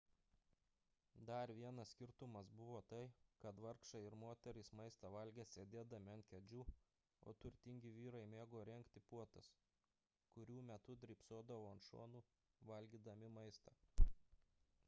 dar vienas skirtumas buvo tai kad vargšai ir moterys maistą valgė sėdėdami ant kėdžių o turtingi vyrai mėgo rengti puotas kurių metu drybsodavo ant šonų valgydami maistą